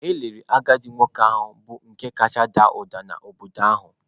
E liri agadi nwoke ahụ bụ nke kacha ada ụda n’obodo ahụ